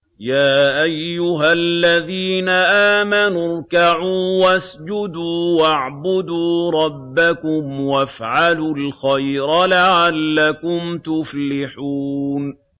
يَا أَيُّهَا الَّذِينَ آمَنُوا ارْكَعُوا وَاسْجُدُوا وَاعْبُدُوا رَبَّكُمْ وَافْعَلُوا الْخَيْرَ لَعَلَّكُمْ تُفْلِحُونَ ۩